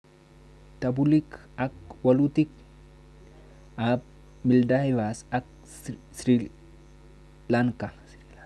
Tebutik ak walutik ab Maldives ak Sri Lanka